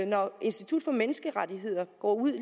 når institut for menneskerettigheder går ud